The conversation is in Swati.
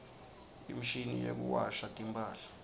imshini yekuwasha timphahla